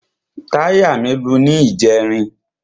Táyà mí lu ní ìjẹrin.